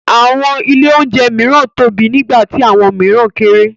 Àwọn ilé-oúnjẹ mìíràn tóbi nígbà tí àwọn mìíràn kéré.